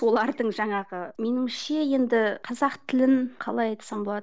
олардың жаңағы меніңше енді қазақ тілін қалай айтсам болады